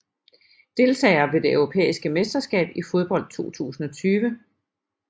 Deltagere ved det europæiske mesterskab i fodbold 2020